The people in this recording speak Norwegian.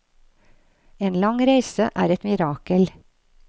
En lang reise er et mirakel.